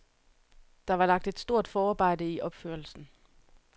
Der var lagt et stort forarbejde i opførelsen.